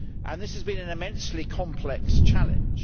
This has been an immensely complex challenge.